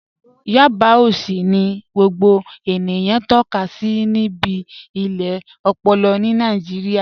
Yábà òṣì ni gbogbo ènìyàn tọka sí bí ilẹ̀ òpòlò ni Nàìjíríà